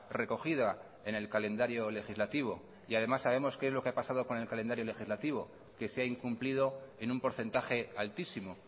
recogida en el calendario legislativo y además sabemos qué es lo que ha pasado con el calendario legislativo que se ha incumplido en un porcentaje altísimo